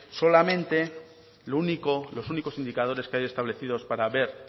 solamente los únicos indicadores que hay establecidos para ver